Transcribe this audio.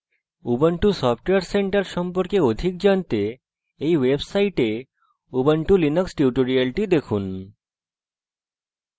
ubuntu software centre সম্পর্কে অধিক জানতে এই website ubuntu linux tutorials দেখুন